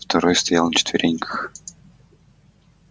второй стоял на четвереньках